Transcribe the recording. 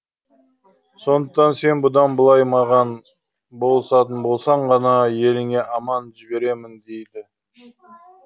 сондықтан сен бұдан былай маған болысатын болсаң ғана еліңе аман жіберемін дейді